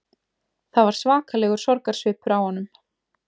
Það var svakalegur sorgarsvipur á honum